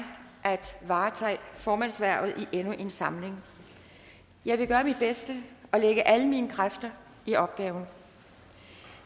at varetage formandshvervet i endnu en samling jeg vil gøre mit bedste og lægge alle mine kræfter i opgaven